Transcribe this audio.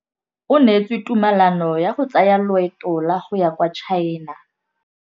O neetswe tumalanô ya go tsaya loetô la go ya kwa China.